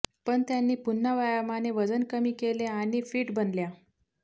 पण त्यांनी पुन्हा व्यायामाने वजन कमी केले आणि फिट बनल्या